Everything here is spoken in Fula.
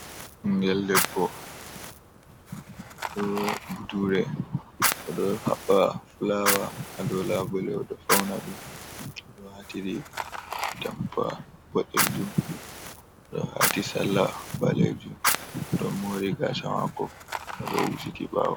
Ɓingel debbo ɗo budure oɗo haɓɓa fulawa ha dow labule oɗo fauna ɗum oɗo wati riga atampa boɗejum oɗo wati salla ɓalejum oɗo mori gasha mako oɗo husiti ɓawo.